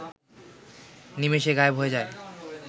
নিমেষে গায়েব হয়ে যায়